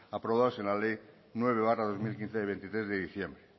aprobados en la ley nueve barra dos mil quince de veintitrés de diciembre